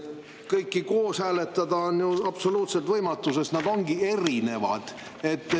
Kõiki koos hääletada on absoluutselt võimatu, sest need ongi erinevad.